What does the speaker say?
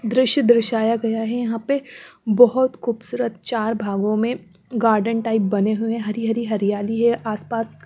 दृश्य दर्शाया गया है यहाँ पे बहुत खूबसूरत चार भागों में गार्डन टाइप बने हुए हैं हरी हरी हरियाली है आसपास --